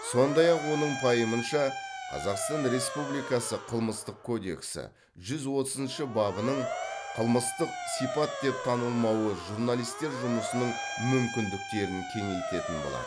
сондай ақ оның пайымынша қазақстан республикасы қылмыстық кодексі жүз отызыншы бабының қылмыстық сипат деп танылмауы журналистер жұмысының мүмкіндіктерін кеңейтетін болады